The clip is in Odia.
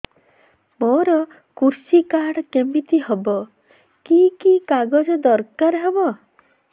ମୋର କୃଷି କାର୍ଡ କିମିତି ହବ କି କି କାଗଜ ଦରକାର ହବ